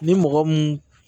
Ni mɔgɔ mun